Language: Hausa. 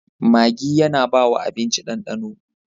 Maggi yAna bawa abinci dan dano